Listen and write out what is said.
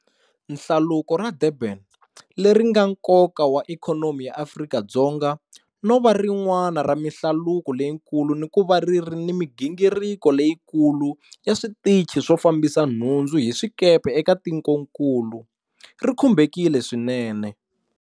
Nhlaluko ra Durban, leri nga ni nkoka wa ikhonomi ya Afrika-Dzonga no va rin'wana ra mihlaluko leyikulu ni ku va ri ri ni migingiriko leyikulu ya switichi swo fambisa nhundzu hi swikepe eka tikonkulu, ri khumbekile swinene.